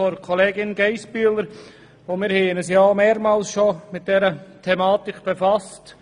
Wir haben uns bereits mehrmals mit dieser Thematik befasst.